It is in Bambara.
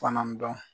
Fana dɔn